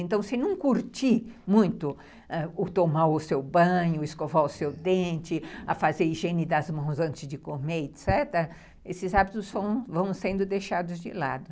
Então, se não curtir muito, ãh, o tomar o seu banho, escovar o seu dente, a fazer higiene das mãos antes de comer, etecetera., esses hábitos vão sendo deixados de lado.